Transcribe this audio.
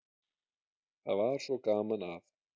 Það var svo gaman að